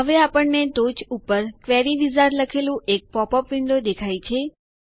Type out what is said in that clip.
હવે આપણને ટોચ ઉપર ક્વેરી વિઝાર્ડ લખેલું એક પોપ અપ વિન્ડો દેખાય છે